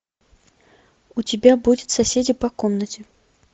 у тебя будет соседи по комнате